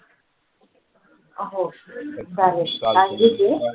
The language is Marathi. हो चालेल सांगजो तू